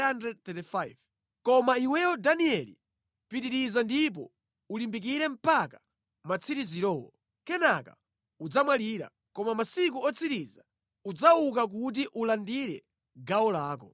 “Koma iweyo Danieli, pitiriza ndipo ulimbikire mpaka matsiriziro. Kenaka udzamwalira. Koma mʼmasiku otsiriza udzauka kuti ulandire gawo lako.”